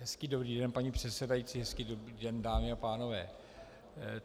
Hezký, dobrý den, paní předsedající, hezký, dobrý den, dámy a pánové.